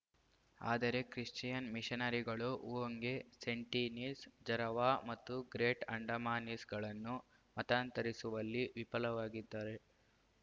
ಆದರೆ ಕ್ರಿಶ್ಚಿಯನ್‌ ಮಿಷನರಿಗಳು ಓಂಗೆ ಸೆಂಟಿನೀಸ್‌ ಜರವಾ ಮತ್ತು ಗ್ರೇಟ್‌ ಅಂಡಮಾನೀಸ್‌ಗಳನ್ನು ಮತಾಂತರಿಸುವಲ್ಲಿ ವಿಫಲಾಗಿದ್ದಾರೆ